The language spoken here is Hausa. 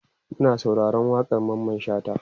Muna sauraron waƙan Mamman shata